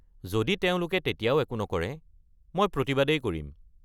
যদি তেওঁলোকে তেতিয়াও একো নকৰে, মই প্ৰতিবাদেই কৰিম।